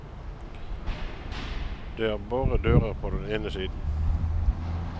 Det er bare dører på den ene siden.